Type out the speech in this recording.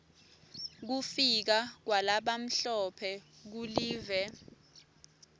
kufika kwalabamhlophe kulive